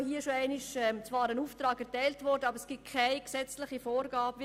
Dies wird zwar immer wieder gesagt, aber es entspricht keiner gesetzlichen Vorgabe.